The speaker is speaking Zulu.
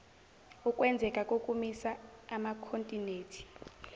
ukwenzeka kokumisa amakhontinethi